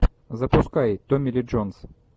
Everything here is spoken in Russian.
запускай томми ли джонс